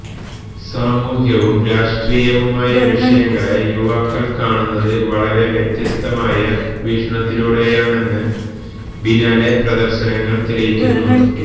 സാമൂഹ്യവും രാഷ്ട്രീയവുമായ വിഷയങ്ങളെ യുവാക്കള് കാണുന്നത് വളരെ വ്യത്യസ്തമായ വീക്ഷണത്തിലൂടെയാണെന്ന് ബിനാലെ പ്രദര്ശനങ്ങള് തെളിയിക്കുന്നു